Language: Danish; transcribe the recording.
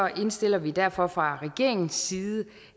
indstiller vi derfor fra regeringens side